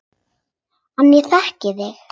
En ég þekki þig.